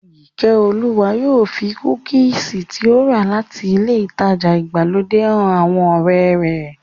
Ìkẹ́olúwa yóò fi kúkìsì tí ó rà láti ilé ìtajà ìgbàlódé han àwọn ọ̀rẹ́ rẹ̀